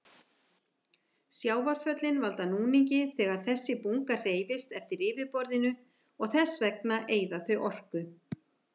Sjávarföllin valda núningi þegar þessi bunga hreyfist eftir yfirborðinu og þess vegna eyða þau orku.